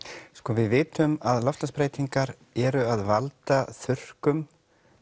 við vitum að loftslagsbreytingar eru að valda þurrkum